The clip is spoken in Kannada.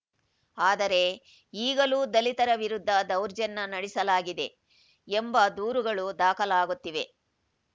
ಆದರೆ ಈಗಲೂ ದಲಿತರ ವಿರುದ್ಧ ದೌರ್ಜನ್ಯ ನಡೆಸಲಾಗಿದೆ ಎಂಬ ದೂರುಗಳು ದಾಖಲಾಗುತ್ತಿವೆ